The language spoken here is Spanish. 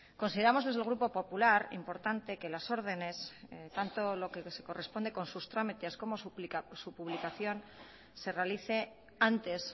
consideramos desde el grupo popular importante que las órdenes tanto lo que se corresponde con sus trámites como su publicación se realice antes